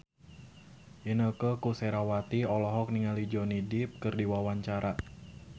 Inneke Koesherawati olohok ningali Johnny Depp keur diwawancara